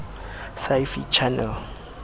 sci fi channel